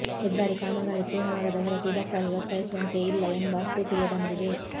ಹೆದ್ದಾರಿ ಕಾಮಗಾರಿ ಪೂರ್ಣವಾಗದ ಹೊರತು ಇದಕ್ಕಾಗಿ ಒತ್ತಾಯಿಸುವಂತೆಯೂ ಇಲ್ಲ ಎಂಬ ಸ್ಥಿತಿಗೆ ಬಂದಿದೆ